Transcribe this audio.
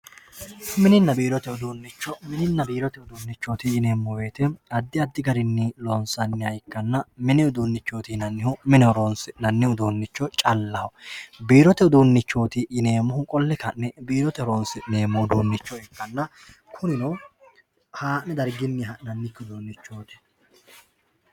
Mininna biirote uduunicho, mininna biirote uduunicho yineemo woyite adi adi garinni loonsanniha ikkanna, mini udunichoti yinnannihu mine horonsinnanni udunicho callaho, biirote udunichoti yineemohu qole ka'ne biirote horonsi'neemoha calla ikkanna kunino haa' ne dargini ha'naniki udunichoti